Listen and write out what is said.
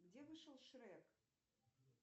где вышел шрек